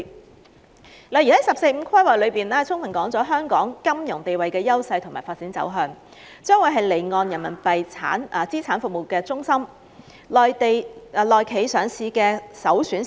舉例而言，國家在《十四五規劃綱要》中具體指出香港金融地位的優勢及發展路向，表明它將成為離岸人民幣資產服務中心及內企上市的首選市場。